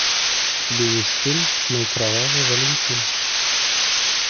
у тебя есть фильм мой кровавый валентин